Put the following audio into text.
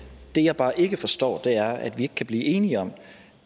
det jeg bare ikke forstår er at vi ikke kan blive enige om